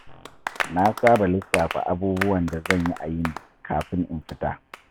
Na saba lissafa abubuwan da zan yi a yini kafin in fita.